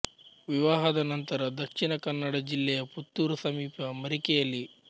ವಿವಾಹದ ನಂತರ ದಕ್ಷಿಣ ಕನ್ನಡ ಜಿಲ್ಲೆಯ ಪುತ್ತೂರು ಸಮೀಪ ಮರಿಕೆಯಲ್ಲಿ